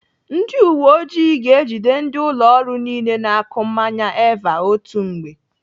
Ndị uwe ọjị ga-ejide ndị ụlọ ọrụ niile na-akụ mmanya Eva otu mgbe.